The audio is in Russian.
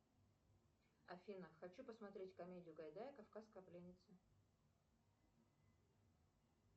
афина хочу посмотреть комедию гайдая кавказская пленница